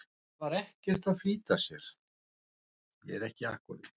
Hann var ekkert að flýta sér.